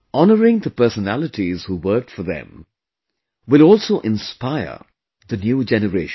Honouring the personalities who worked for them, will also inspire the new generation